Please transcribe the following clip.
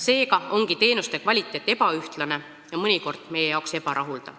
Seega ongi teenuste kvaliteet ebaühtlane ja mõnikord meie jaoks ebarahuldav.